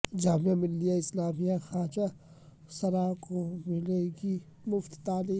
جامعہ ملیہ اسلامیہ میں خواجہ سراوں کو ملے گی مفت تعلیم